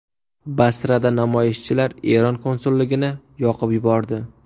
Basrada namoyishchilar Eron konsulligini yoqib yubordi.